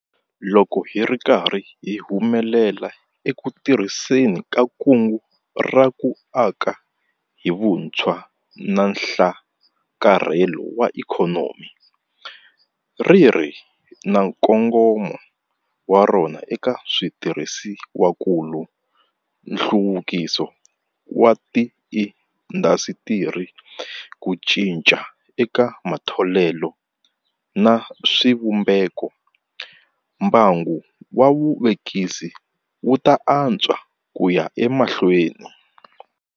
Loko hi ri karhi hi humelela eku tirhiseni ka Kungu ra ku Aka hi Vutshwa na Nhlakarhelo wa Ikhonomi ri ri na nkongomo wa rona eka switirhisiwakulu, nhluvukiso wa tiindasitiri, ku cinca eka matholelo na swivumbeko mbangu wa vuvekisi wu ta antswa ku ya emahlweni.